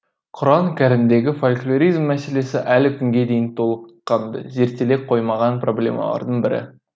құран кәрімдегі фольклоризм мәселесі әлі күнге дейін толыққанды зерттеле қоймаған проблемалардың бірі